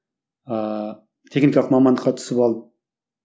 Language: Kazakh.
ыыы техникалық мамандыққа түсіп ал